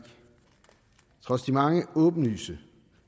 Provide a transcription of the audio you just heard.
trods de mange åbenlyse